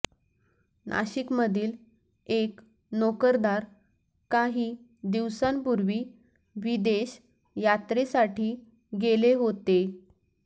नाशिकमधील एक नोकरदार काही दिवसांपूर्वी विदेश यात्रेसाठी गेले होते